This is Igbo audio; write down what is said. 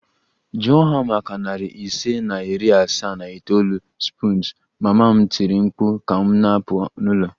Jụọ ha maka narị ise na iri asaa na itoolu spoons! Mama m tiri mkpu ka m na-apụ n'ụlọ